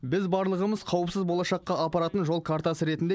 біз барлығымыз қауіпсіз болашаққа апаратын жол картасы ретінде